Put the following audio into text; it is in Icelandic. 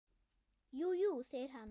Jú, jú, segir hann.